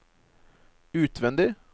utvendig